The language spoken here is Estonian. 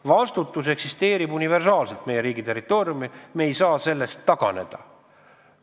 Vastutus eksisteerib universaalselt kogu meie riigi territooriumil, me ei saa sellest taganeda.